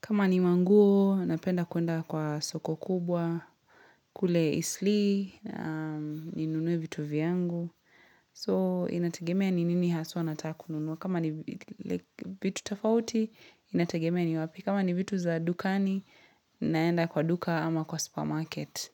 Kama ni manguo, napenda kuenda kwa soko kubwa, kule Eastleigh, ninunue vitu vyangu. So inategemea ni nini haswa nataka kununua, kama ni vitu tofauti Inategemea ni wapi, kama ni vitu za dukani naenda kwa duka ama kwa supermarket.